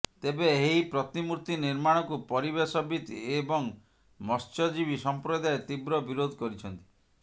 ତେବେ ଏହି ପ୍ରତିମୂର୍ତ୍ତି ନିର୍ମାଣକୁ ପରିବେଶବିତ୍ ଏବଂ ମତ୍ସ୍ୟଜୀବୀ ସମ୍ପ୍ରଦାୟ ତୀବ୍ର ବିରୋଧ କରିଛନ୍ତି